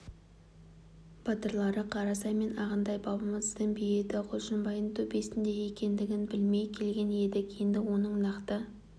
батырлары қарасай мен ағынтай бабамыздың бейіті құлшынбайдың төбесінде екендігін білмей келген едік енді оның нақты